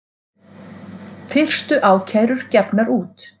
Fyrstu ákærur gefnar út